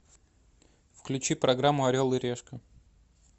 включи программу орел и решка